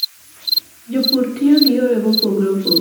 Jopur tiyo gi yore mopogore opogore mondo girit lowo obed kama ber.